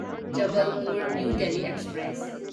Jabalpur new Delhi express